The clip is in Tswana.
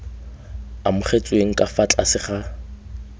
amogetsweng ka fa tlase ga